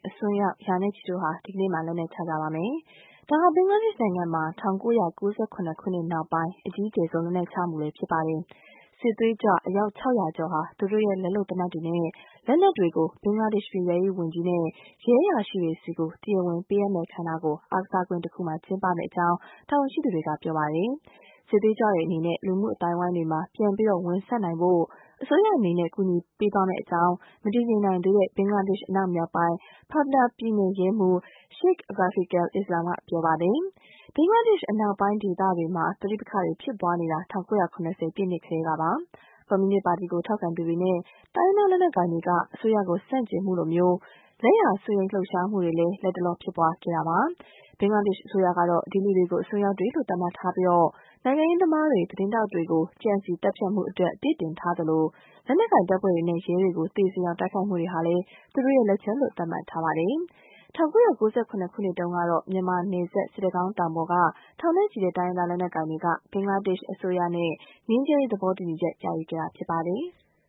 အစွန်းရောက် ရာနဲ့ချီတို့ဟာ ဒီကနေ့မှာ လက်နက်ချကြပါမယ်။ ဒါဟာ ဘင်္ဂလားဒေ့ရှ်နိုင်ငံမှာ ၁၉၉၇ နောက်ပိုင်း အကြီးကျယ်ဆုံး လက်နက်ချမှုလည်း ဖြစ်ပါတယ်။ စစ်သွေးကြွ အယောက် ၆၀၀ ကျော်ဟာ သူတို့ရဲ့ လက်လုပ် သေနတ်တွေနဲ့ လက်နက်တွေကို ဘင်္ဂလားဒေ့ရှ် ပြည်ထဲရေးဝန်ကြီးနဲ့ ရဲအရာရှိတွေဆီ တရားဝင် ပေးအပ်မယ့် အခမ်းအနားကို အားကစားကွင်းတခုမှာ ကျင်းပမယ့်အကြောင်း တာဝန်ရှိသူတွေက ပြောပါတယ်။ စစ်သွေးကြွတွေအနေနဲ့ လူမှုအသိုင်းအဝိုင်းမှာ ပြန်ဝင်ဆံ့နိုင်ဖို့ အစိုးရအနေနဲ့ ကူညီပေးသွားမယ့်အကြောင်း မတည်ငြိမ်နိုင်သေးတဲ့ ဘင်္ဂလားဒေ့ရှ် အနောက်မြောက်ပိုင်း Pabna ပြည်နယ် ရဲမှူး Sheikh Rafiqul Islam က ပြောပါတယ်။ ဘင်္ဂလားဒေ့ရှ် အနောက်ပိုင်းဒေသတွေမှာ ပဋိပက္ခတွေ ဖြစ်ပွားနေတာ ၁၉၇၀ ပြည့်နှစ်တွေကတည်းကပါ။ ကွန်မြူနစ်ပါတီကို ထောက်ခံသူတွေနဲ့ တိုင်းရင်းသား လက်နက်ကိုင်တွေက အစိုးရကို ဆန့်ကျင်မှုလို လက်ယာစွန်းယိန်း လှုပ်ရှားမှုတွေလည်း လက်တလော ဖြစ်ပွားခဲ့တာပါ။ ဘင်္ဂလားဒေ့ရှ် အစိုးရကတော့ ဒီလူတွေကို အစွန်းရောက်တွေလို့ သတ်မှတ်ထားပြီး နိုင်ငံရေးသမားတွေ၊ သတင်းထောက်တွေကို ကြံစည် သတ်ဖြတ်မှုအတွက် အပြစ်တင်ထားသလို လက်နက်ကိုင် တပ်ဖွဲ့တွေနဲ့ ရဲတွေကို သေစေအောင် တိုက်ခိုက်မှုတွေဟာလည်း သူတို့ လက်ချက်လို့ သတ်မှတ်ထားပါတယ်။ ၁၉၉၇ ခုနှစ်တုန်းကတော့ မြန်မာနယ်စပ် စစ်တကောင်းတောင်ပေါ်က ထောင်နဲ့ချီတဲ့ တိုင်းရင်းသား လက်နက်ကိုင်တွေက ဘင်္ဂလားဒေ့ရှ် အစိုးရနဲ့ ငြိမ်းချမ်းရေး သဘောတူညီချက် ရယူခဲ့တာ ဖြစ်ပါတယ်။